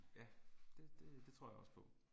Ja det det det tror jeg også på